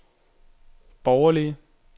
borgerlige